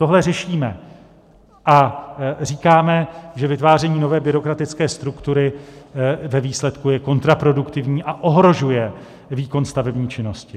Tohle řešíme a říkáme, že vytváření nové byrokratické struktury ve výsledku je kontraproduktivní a ohrožuje výkon stavební činnosti.